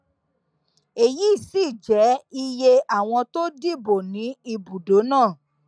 èyí sì jẹ iye àwọn tó dìbò ní ibùdó náà